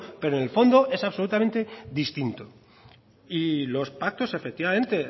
pero en el fondo es absolutamente distinto y los pactos efectivamente